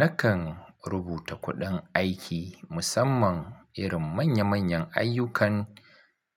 Nakan rubuta kuɗin aiki musamman irin manya-manyan ayyukan